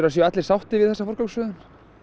séu allir sáttir við þessa forgangsröðun